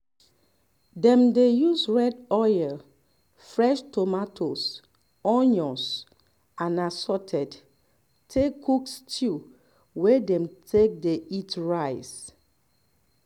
dem dey use red oil fresh tomatoes onions and assorted take cook stew wey dem take dey eat rice